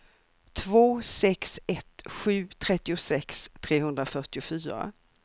två sex ett sju trettiosex trehundrafyrtiofyra